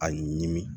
A ɲimi